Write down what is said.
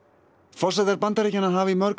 forsetar Bandaríkjanna hafa í mörg